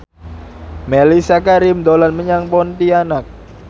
Mellisa Karim dolan menyang Pontianak